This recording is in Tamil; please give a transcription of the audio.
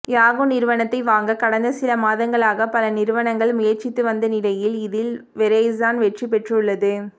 யாகூ நிறுவனத்தை வாங்க கடந்த சில மாதங்களாக பல நிறுவனங்கள் முயற்சித்து வந்த நிலையில் இதில் வெரைஸான் வெற்றி பெற்றுள்ளது